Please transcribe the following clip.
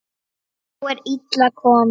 Þá er illa komið.